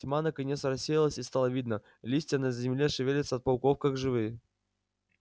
тьма наконец рассеялась и стало видно листья на земле шевелятся от пауков как живые